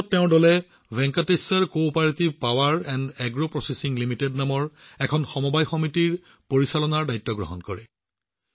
ইয়াৰ পিছত তেওঁৰ দলে Venkateshwar Cooperative Power and Agro Processing Limited নামৰ এটা সমবায় সংগঠনৰ পৰিচালনাৰ দায়িত্ব গ্ৰহণ কৰে